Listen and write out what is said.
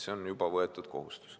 See on juba võetud kohustus.